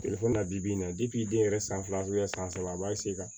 bi bi in na den yɛrɛ san fila san saba a b'a